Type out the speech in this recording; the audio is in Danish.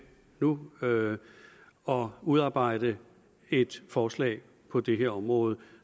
nu og og udarbejde et forslag på det her område